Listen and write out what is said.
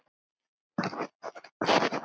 Nei, gettu betur